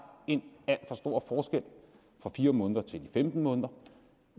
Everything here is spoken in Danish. en alt for stor forskel fra fire måneder til femten måneder